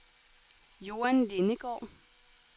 Joan Lindegaard